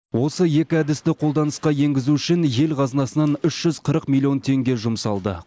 осы екі әдісті қолданысқа енгізу үшін ел қазынасынан үш жүз қырық миллион теңге жұмсалды